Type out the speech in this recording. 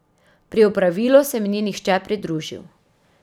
Pri opravilu se mi ni nihče pridružil.